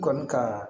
Kɔni kaa